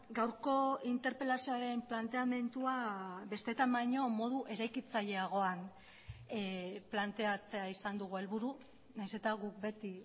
gaurko interpelazioaren planteamendua besteetan baino modu eraikitzaileagoan planteatzea izan dugu helburu nahiz eta guk beti